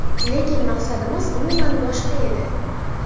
Lekin maqsadimiz umuman boshqa edi.